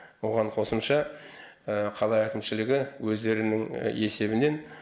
оған қосымша қала әкімшілігі өздерінің есебінен